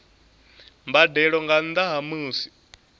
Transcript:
mbadelo nga nnda ha musi